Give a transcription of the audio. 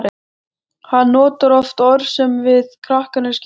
Hann notar oft orð sem við krakkarnir skiljum ekki.